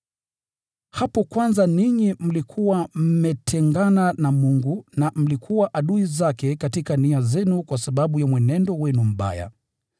Hapo kwanza mlikuwa mmetengana na Mungu, na mlikuwa adui zake katika nia zenu kwa sababu ya mienendo yenu mibaya.